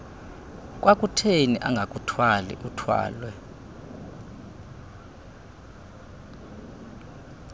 kwakutheni angakuthwali uthwalwe